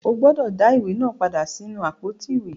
O gbúdọ̀ dá á ìwé náà padà sínú àpótí ìwé.